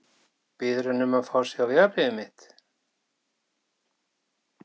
Biður hann um að fá að sjá vegabréfið mitt?